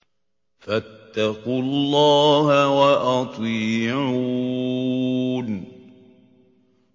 فَاتَّقُوا اللَّهَ وَأَطِيعُونِ